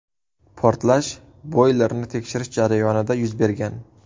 Portlash boylerni tekshirish jarayonida yuz bergan.